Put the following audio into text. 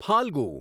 Phalgu